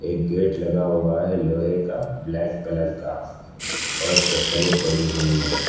एक गेट लगा हुआ है लोहे का ब्लैक कलर का और चप्पलें पड़ी हुई हैं।